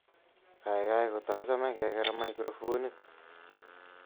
Kaikai kotachome keker microfonit